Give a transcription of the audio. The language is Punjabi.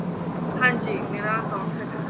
ਹਾਂਜੀ ਮੇਰਾ account ਹੈਗਾ